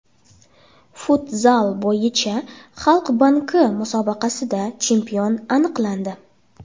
Futzal bo‘yicha Xalq banki musobaqasida chempion aniqlandi.